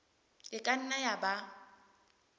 e ka nna ya ba